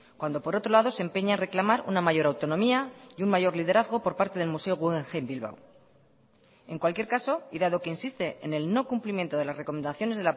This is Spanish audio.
cuando por otro lado se empeña a reclamar una mayor autonomía y un mayor liderazgo por parte del museo guggenheim bilbao en cualquier caso y dado que insiste en el no cumplimiento de las recomendaciones